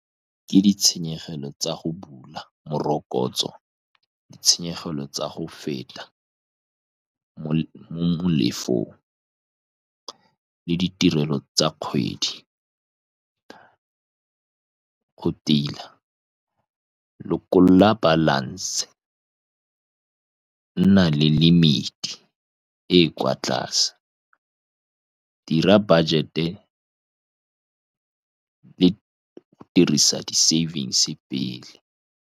Ke ditshenyegelo tsa go bula morokotso, ditshenyegelo tsa go feta mo-mo molefong, le ditirelo tsa kgwedi. Go tila, lekola balance, nna le limit-i e e kwa tlase, dira budget-e le dirisa di-savings pele.